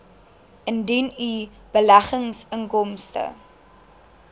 indien u beleggingsinkomste